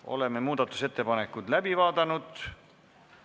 Oleme muudatusettepanekud läbi vaadanud.